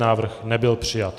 Návrh nebyl přijat.